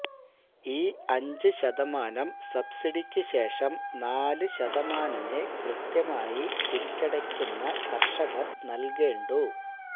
ഈ അഞ്ചു ശതമാനം സബ്സിഡിക്കു ശേഷം നാലുശതമാനമേ കൃത്യമായി തിരിച്ചടയ്ക്കുന്ന കര്ഷകര് നല്കേണ്ടൂ